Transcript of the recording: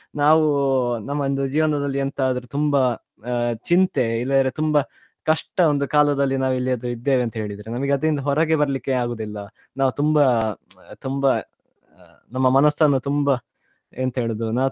ನಾವು ನಮ್ಮ ಒಂದು ಜೀವನದಲ್ಲಿ ಎಂತದ್ರೂ ತುಂಬಾ ಆ ಚಿಂತೆ ಇಲ್ಲದ್ರೆ ಕಷ್ಟ ಒಂದು ಕಾಲದಲ್ಲಿ ನಾವೆಲ್ಲಿ ಆದ್ರೂ ಇದ್ದೇವೆ ಅಂತ ಹೇಳಿದ್ರೆ ನಮ್ಗೆ ಅದರಿಂದ ಹೊರಗೆ ಬರ್ಲಿಕ್ಕೆ ಆಗುದಿಲ್ಲ ನಾವ್ ತುಂಬಾ ತುಂಬಾ ಅ ನಮ್ಮ ಮನಸನ್ನು ತುಂಬಾ ಎಂತ ಹೇಳುದು ನಾವ್.